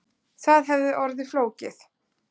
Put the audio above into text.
Það hefði orðið of flókið